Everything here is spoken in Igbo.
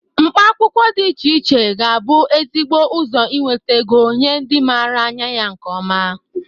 Mkpa akwụkwọ dị iche iche ga-abụ ezigbo ụzọ inwete ego nye ndị mara anya ya nke ọma.